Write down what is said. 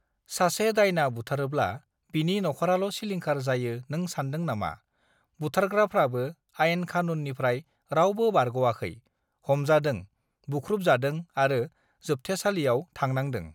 सासे दायना बुथारोब्ला बिनि नखराल सिलिंखार जायो नों सान्दों नामा बुथारग्राफ्राबो आइन खानुन निफ्राय रावबो बारगवाखै हमजादों बुखुब जादों आरो जोब्थॆसालियाव थांनांदं